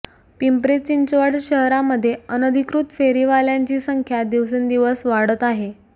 पिंपरी चिंचवड शहरामध्ये अनधिकृत फेरीवाल्यांची संख्या दिवसेंदिवस वाढत आहे